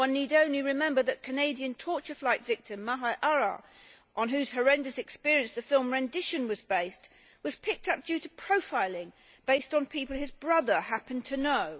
One need only remember that Canadian torture flight victim, Maher Arrar on whose horrendous experience the film Rendition' was based was picked up due to profiling based on people his brother happened to know